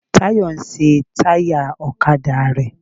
Táyọ̀ ń ṣe táyà ọ̀kadà rẹ.